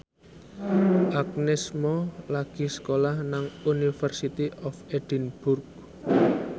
Agnes Mo lagi sekolah nang University of Edinburgh